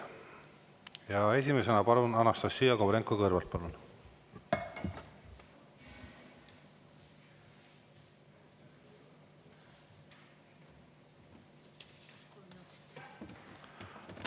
Ja esimesena palun, Anastassia Kovalenko-Kõlvart!